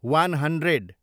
one hundred